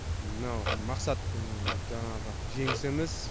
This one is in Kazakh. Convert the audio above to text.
мынау мақсат жаңағы жеңіс емес